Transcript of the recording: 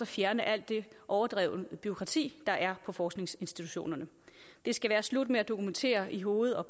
fjerne alt det overdrevne bureaukrati der er på forskningsinstitutionerne det skal være slut med at dokumentere i hoved og